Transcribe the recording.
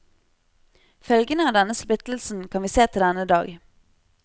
Følgene av denne splittelsen kan vi se til denne dag.